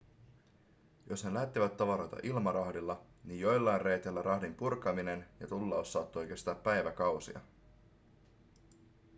jos ne lähettivät tavaroita ilmarahdilla niin joillain reiteillä rahdin purkaminen ja tullaus saattoi kestää päiväkausia